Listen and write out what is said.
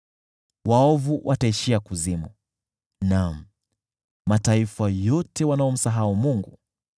Waovu wataishia kuzimu, naam, mataifa yote wanaomsahau Mungu.